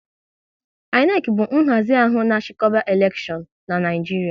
INEC bụ nhazi ahụ na chikoba elekshion n'Naijiria